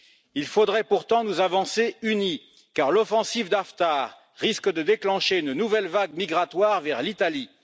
Il nous faudrait pourtant avancer unis, car l'offensive d'Haftar risque de déclencher une nouvelle vague migratoire vers l'Italie.